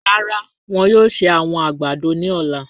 Rara, wọn yoo ṣe awọn agbado ni ọla.